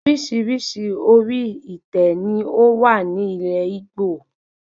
Orísirísi orí itẹ ni o wá ní ilé Igbo